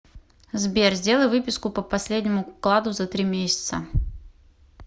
сбер сделай выписку по последнему вкладу за три месяца